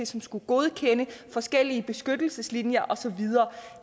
som skulle godkende forskellige beskyttelseslinjer og så videre